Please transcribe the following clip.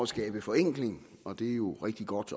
skabe forenkling og det er jo rigtig godt